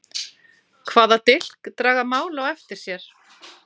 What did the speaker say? Hvaða dilk draga mál á eftir sér?